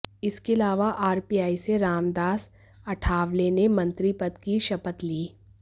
इसके अलावा आरपीआई से रामदास अठावले ने मंत्री पद की शपथ ली